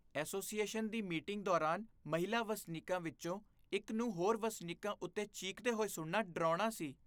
Association ਦੀ meeting ਦੌਰਾਨ ਮਹਿਲਾ ਵਸਨੀਕਾਂ ਵਿੱਚੋਂ ਇੱਕ ਨੂੰ ਹੋਰ ਵਸਨੀਕਾਂ ਉੱਤੇ ਚੀਕਦੇ ਹੋਏ ਸੁਣਨਾ ਡਰਾਉਣਾ ਸੀ।